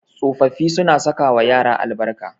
Tsofaffi suna sakawa yara albarka.